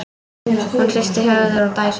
Hún hristir höfuðið og dæsir.